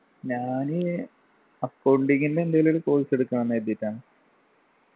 ഞാന് accounting ൻ്റെ എന്തേലും ഒരു course എടുക്കണം ന്ന് കരുതീട്ടാണ്